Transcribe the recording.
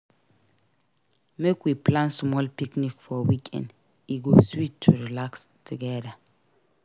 Make we plan small picnic for weekend; e go sweet to relax together.